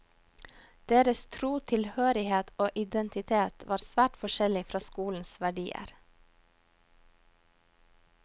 Deres tro, tilhørighet og identitet var svært forskjellig fra skolens verdier.